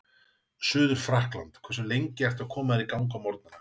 Suður-Frakkland Hversu lengi ertu að koma þér í gang á morgnanna?